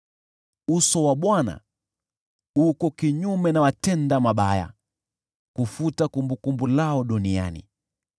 Uso wa Bwana uko kinyume na watendao maovu, ili kufuta kumbukumbu lao duniani.